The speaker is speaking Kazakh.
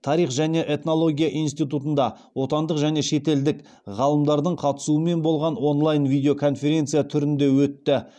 тарих және этнология институтында отандық және шетелдік ғалымдардың қатысуымен болған онлайн видеоконференция түрінде өтті